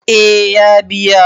eh ya biya